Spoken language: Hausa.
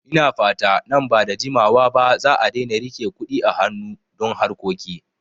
Ina fata nan ba da jimawa ba za'a daina rike Kuɗi a hanu don harkoki